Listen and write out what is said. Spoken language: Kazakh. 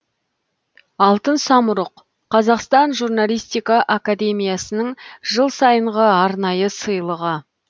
алтын самұрық қазақстан журналистика академиясының жыл сайынғы арнайы сыйлығы